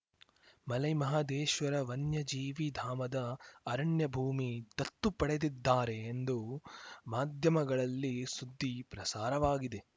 ಮಲೈ ಮಹದೇಶ್ವರ ವನ್ಯಜೀವಿ ಧಾಮದ ಅರಣ್ಯ ಭೂಮಿ ದತ್ತು ಪಡೆದಿದ್ದಾರೆ ಎಂದು ಮಾಧ್ಯಮಗಳಲ್ಲಿ ಸುದ್ದಿ ಪ್ರಸಾರವಾಗಿದೆ